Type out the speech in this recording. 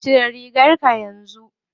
Cire rigarka yanzun nan.